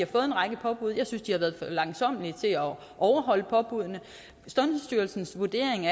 fået en række påbud jeg synes de har været for langsommelige til at overholde påbuddene sundhedsstyrelsens vurdering